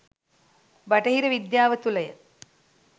බටහිර විද්‍යාව තුලය.